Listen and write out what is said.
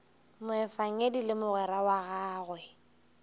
moefangedi le mogwera wa gagwe